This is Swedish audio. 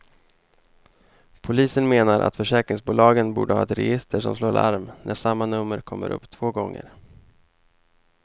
Polisen menar att försäkringsbolagen borde ha ett register som slår larm när samma nummer kommer upp två gånger.